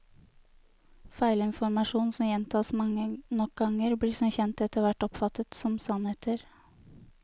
Feilinformasjon som gjentas mange nok ganger, blir som kjent etterhvert oppfattet som sannheter.